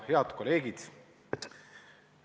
Head kolleegid!